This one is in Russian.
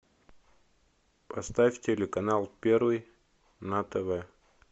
поставь телеканал первый на тв